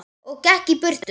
Og gekk í burtu.